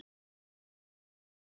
Ef maður eins og